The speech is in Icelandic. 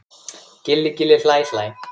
Gilli gilli hlæ hlæ.